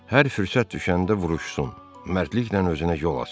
Hər fürsət düşəndə vuruşsun, mərdliklə özünə yol açsın.